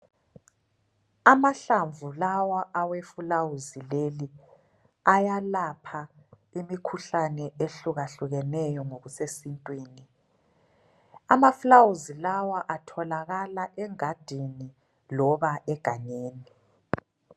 Amahlamvu lawa aweflawuzi leli ayalapha imikhuhlane ehlukahlukeneyo ngokusesintwini. Amaflawuzi lawa atholakala engadini loba egangeni.